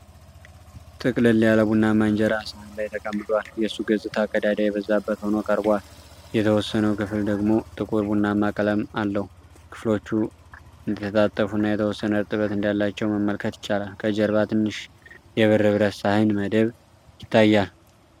ጥቅልል ያለ ቡናማ እንጀራ ሰሀን ላይ ተቀምጧል። የሱ ገጽታ ቀዳዳ የበዛበት ሆኖ ቀርቧል፤ የተወሰነው ክፍል ደግሞ ጥቁር ቡናማ ቀለም አለው። ከፍሎቹ እንደተጣጠፉና የተወሰነ እርጥበት እንዳላቸው መመልከት ይቻላል። ከጀርባ ትንሽ የብር ብረት ሳህን መደብ ይታያል።